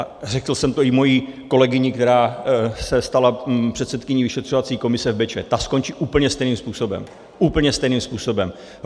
A řekl jsem to i své kolegyni, která se stala předsedkyní vyšetřovací komise v Bečvě, ta skončí úplně stejným způsobem, úplně stejným způsobem.